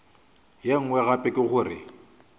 ye nngwe gape ke gore